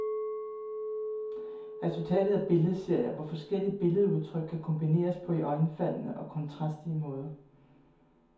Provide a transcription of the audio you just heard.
Resultatet er billedserier, hvor forskellige billedudtryk kan kombineres på iøjenfaldende og kontrastrige måder.